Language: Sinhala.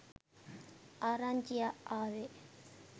ආරංචිය ආවෙ.